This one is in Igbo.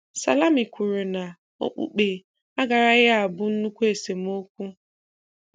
Salami kwuru na okpukpe agaraghị abụ nnukwu esemokwu.